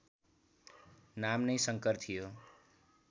नाम नै शङ्कर थियो